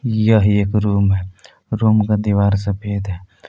यह एक रूम है रूम का दीवार सफेद है ।